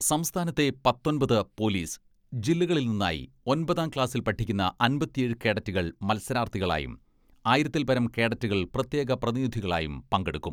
സംസ്ഥാനത്തെ പത്തൊമ്പത് പൊലീസ് ജില്ലകളിൽ നിന്നായി ഒൻപതാം ക്ലാസിൽ പഠിക്കുന്ന അമ്പത്തിയേഴ് കേഡറ്റുകൾ മത്സരാർഥികളായും ആയിരത്തിൽപരം കേഡറ്റുകൾ പ്രത്യേക പ്രതിനിധികളായും പങ്കെടുക്കും.